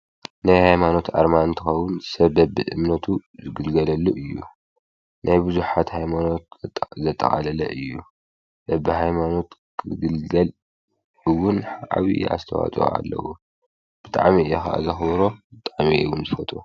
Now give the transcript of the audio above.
ናይ ኃይማኖት ኣርማንትኸዉን ሰብ ኣብ እምነቱ ዝግልገለሉ እዩ ናይ ብዙኃት ኃይማኖት ዘጠዓለለ እዩ በብ ኃይማኖት ክግልገልውን ዓብዪ ኣስተዋጡ ኣለዉ ብጥዓም ኢኢኻ ዘኽሮ ጣሜ ውን ዝፈጡ።